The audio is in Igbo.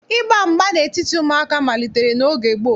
Ịgba mgba n'etiti ụmụaka malitere n'oge gboo